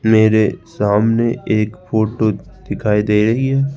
मेरे सामने एक फोटो दिखाई दे रही है।